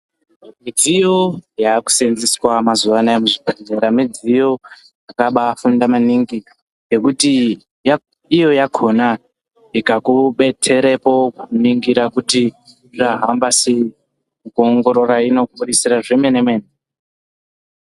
Midziyo yakusenzweswa mazuvana aya muzvipatara midziyo yakabafunda maningi ngekuti iyo yakona ikakubetserepo kuningira kuti zvahamba sei kuongorora inokubuditsira zvemenemene .